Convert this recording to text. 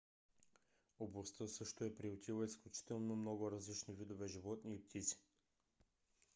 областта също е приютила изключително много различни видове животни и птици